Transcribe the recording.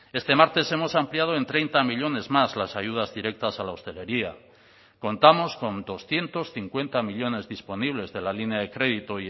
este martes hemos ampliado en treinta millónes más las ayudas directas a la hostelería contamos con doscientos cincuenta millónes disponibles de la línea de crédito